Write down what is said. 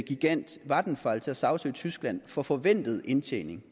gigant vattenfall til at sagsøge tyskland for forventet indtjening